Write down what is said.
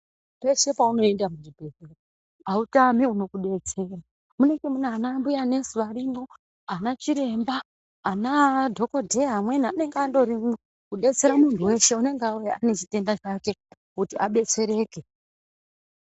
Pese paunoenda kuchibhedhlera autami unokubetsera munenge muna ana mbuya nesi arimwo ana chiremba aana dhokodheya amweni anenge angorimwo kudetsera muntu weshe anenge auya ane chitenda chake kuti abetsereke.